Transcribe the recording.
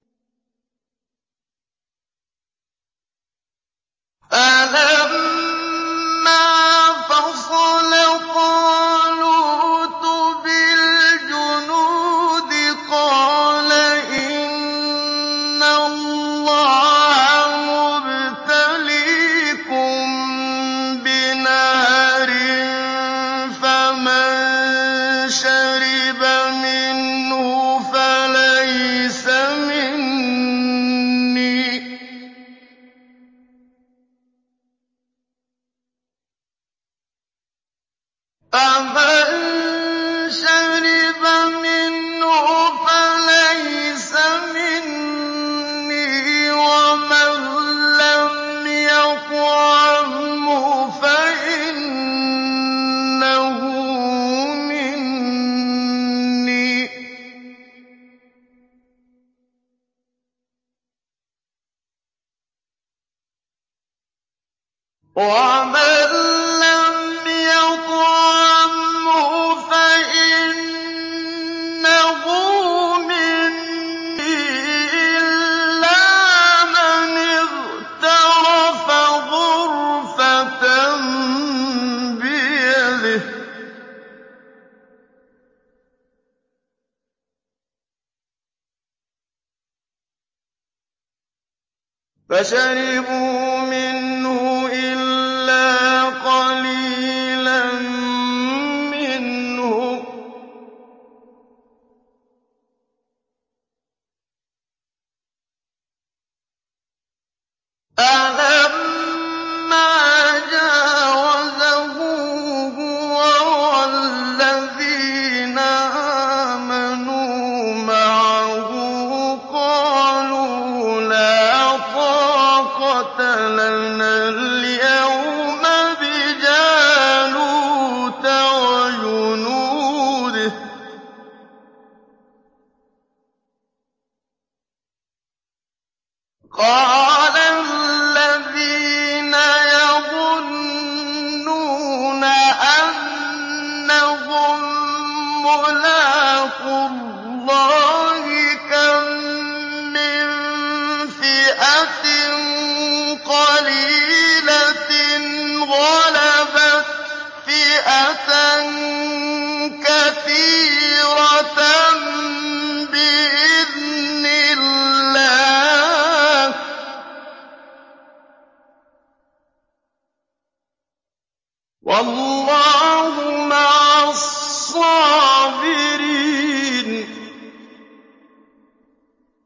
فَلَمَّا فَصَلَ طَالُوتُ بِالْجُنُودِ قَالَ إِنَّ اللَّهَ مُبْتَلِيكُم بِنَهَرٍ فَمَن شَرِبَ مِنْهُ فَلَيْسَ مِنِّي وَمَن لَّمْ يَطْعَمْهُ فَإِنَّهُ مِنِّي إِلَّا مَنِ اغْتَرَفَ غُرْفَةً بِيَدِهِ ۚ فَشَرِبُوا مِنْهُ إِلَّا قَلِيلًا مِّنْهُمْ ۚ فَلَمَّا جَاوَزَهُ هُوَ وَالَّذِينَ آمَنُوا مَعَهُ قَالُوا لَا طَاقَةَ لَنَا الْيَوْمَ بِجَالُوتَ وَجُنُودِهِ ۚ قَالَ الَّذِينَ يَظُنُّونَ أَنَّهُم مُّلَاقُو اللَّهِ كَم مِّن فِئَةٍ قَلِيلَةٍ غَلَبَتْ فِئَةً كَثِيرَةً بِإِذْنِ اللَّهِ ۗ وَاللَّهُ مَعَ الصَّابِرِينَ